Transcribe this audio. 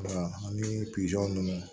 ani ninnu